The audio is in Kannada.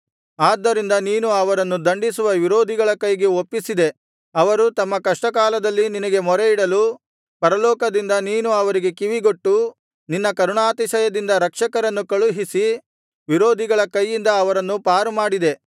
ಆದ್ದರಿಂದ ನೀನು ಅವರನ್ನು ದಂಡಿಸುವ ವಿರೋಧಿಗಳ ಕೈಗೆ ಒಪ್ಪಿಸಿದೆ ಅವರು ತಮ್ಮ ಕಷ್ಟಕಾಲದಲ್ಲಿ ನಿನಗೆ ಮೊರೆಯಿಡಲು ಪರಲೋಕದಿಂದ ನೀನು ಅವರಿಗೆ ಕಿವಿಗೊಟ್ಟು ನಿನ್ನ ಕರುಣಾತಿಶಯದಿಂದ ರಕ್ಷಕರನ್ನು ಕಳುಹಿಸಿ ವಿರೋಧಿಗಳ ಕೈಯಿಂದ ಅವರನ್ನು ಪಾರುಮಾಡಿದೆ